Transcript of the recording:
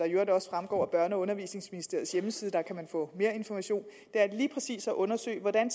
i øvrigt også fremgår af børne og undervisningsministeriets hjemmeside hvor man kan få mere information er lige præcis at undersøge hvordan